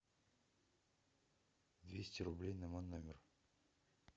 двести рублей на мой номер